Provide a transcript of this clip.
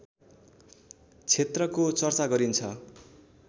क्षेत्रको चर्चा गरिन्छ